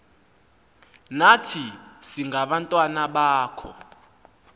nathi singabantwana bakho